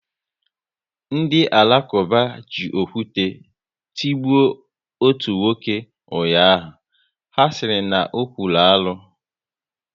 Ndị Alakuba ji okwu te tigbo ọtu nwoke ụnyaahụ, ha sịrị na ọ̀kwụ́rụ́ arụ